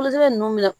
ninnu bɛna